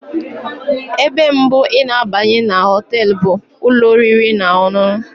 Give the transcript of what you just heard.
Ebe mbụ ị na-abanye na họtel bụ ụlọ oriri na ọṅụṅụ.